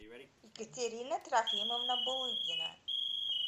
екатерина трофимовна булыгина